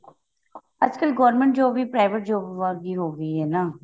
ਅੱਜ ਕਲ government job ਵੀ private job ਵਰਗੀ ਹੋਗੀ ਹੈ ਨਾ